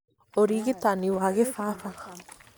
ũrigitani wa kĩbaba